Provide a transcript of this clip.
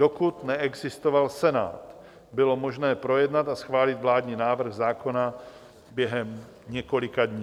Dokud neexistoval Senát, bylo možné projednat a schválit vládní návrh zákona během několika dní.